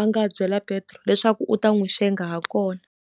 a nga byela Petro leswaku u ta n'wi xenga ha kona.